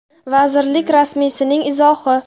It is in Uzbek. Vazirlik rasmiysining izohi.